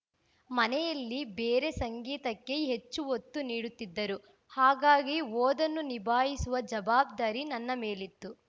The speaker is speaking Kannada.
ಮನೆಯಲ್ಲಿ ಬೇರೆ ಸಂಗೀತಕ್ಕೆ ಹೆಚ್ಚು ಒತ್ತು ನೀಡುತ್ತಿದ್ದರು ಹಾಗಾಗಿ ಓದನ್ನೂ ನಿಭಾಯಿಸುವ ಜವಾಬ್ದಾರಿ ನನ್ನ ಮೇಲಿತ್ತು